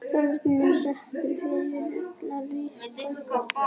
Örninn stendur fyrir þýska ríkið.